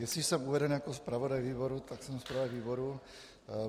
Jestli jsem uveden jako zpravodaj výboru, tak jsem zpravodaj výboru.